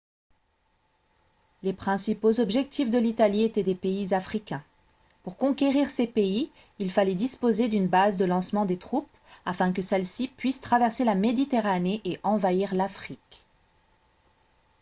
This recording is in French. les principaux objectifs de l'italie étaient les pays africains pour conquérir ces pays il fallait disposer d'une base de lancement des troupes afin que celles-ci puissent traverser la méditerranée et envahir l'afrique